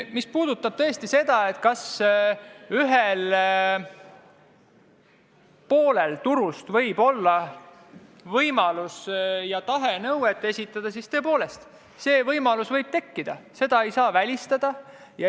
Mis puudutab seda, kas ühel turu osapoolel võib olla võimalus ja tahe esitada nõue, siis tõepoolest, see võimalus võib tekkida, seda ei saa välistada.